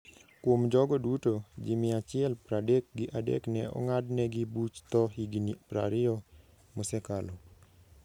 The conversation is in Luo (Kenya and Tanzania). Kuom jogo duto, ji mia achiel pradek gi adek ne ong'adnegi buch tho higini prariyo mosekalo.